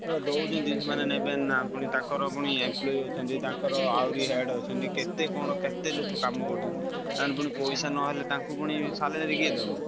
ଦଉଛନ୍ତି ସେମାନେ ନେବେନି ନା ପୁଣି ତାଙ୍କର ପୁଣି employee ଅଛନ୍ତି ତାଙ୍କର ଆହୁରି head ଅଛନ୍ତି କେତେ କଣ କେତେ ଲୋକ କାମ କରୁଛନ୍ତି। ତାଙ୍କର ପୁଣି ପଇସା ନହେଲେ ତାଙ୍କୁ ପୁଣି salary କିଏ ଦବ।